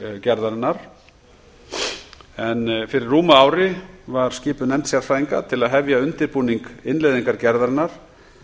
gerðarinnar fyrir rúmu ári var skipuð nefnd sérfræðinga til að hefja undirbúning innleiðingar gerðarinnar